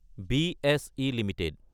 BSE Ltd